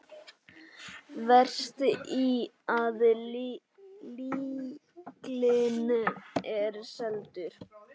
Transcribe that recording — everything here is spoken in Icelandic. Verst að fíllinn er seldur.